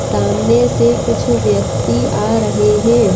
सामने से कुछ व्यक्ति आ रहे हैं।